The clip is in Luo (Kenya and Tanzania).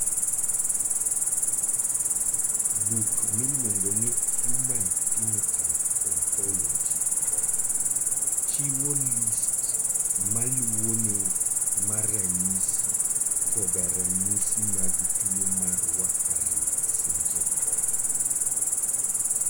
Buk miluongo ni Human Phenotype Ontology chiwo list ma luwoni mar ranyisi koda ranyisi mag tuwo mar Warfarin syndrome.